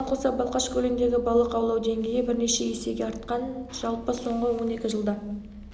оған қоса балқаш көліндегі балық аулау деңгейі бірнеше есеге артқан жалпы соңғы он екі жылда